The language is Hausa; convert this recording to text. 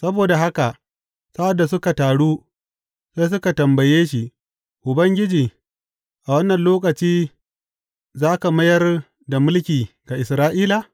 Saboda haka, sa’ad da suka taru, sai suka tambaye shi, Ubangiji, a wannan lokaci za ka mayar da mulki ga Isra’ila?